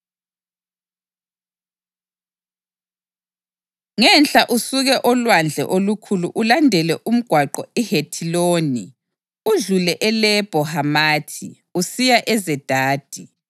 Nanku okuzakuba ngumngcele welizwe: Ngenhla usuke oLwandle Olukhulu ulandele umgwaqo iHethiloni udlule eLebho Hamathi usiya eZedadi,